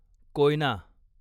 Koyna